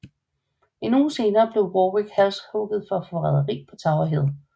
En uge senere blev Warwick halshugget for forræderi på Tower Hill